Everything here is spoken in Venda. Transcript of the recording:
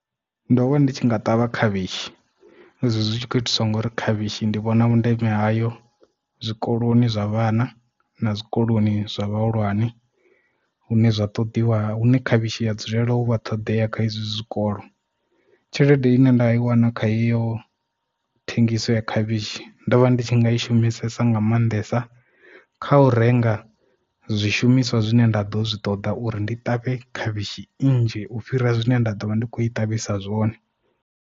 Ndo vha ndi tshi nga ṱavha khavhishi izwi zwitshi khou itiswa ngori khavhishi ndi vhona vhundeme hayo zwikoloni zwa vhana na zwikoloni zwa vhahulwane hune zwa ṱoḓiwa hune khavhishi ya dzulela u vha ṱhoḓea kha izwi zwikolo tshelede ine nda i wana khayo thengiso ya khavhishi ndo vha ndi tshi nga i shumisesa nga maanḓesa kha u renga zwishumiswa zwine nda ḓo zwi ṱoḓa uri ndi ṱavhe khavhishi nnzhi u fhira zwine nda ḓovha ndi khou i ṱavhisa zwone.